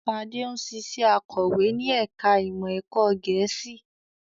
Ṣadé ń ṣiṣẹ́ akọ̀wé ní ẹ̀ka ìmọ̀ ẹ̀kọ́ Gẹ̀ẹ́sì